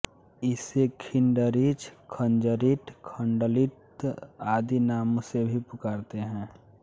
इसे खिंडरिच खंजरीट खंडलिच आदि नामों से भी पुकारते हैं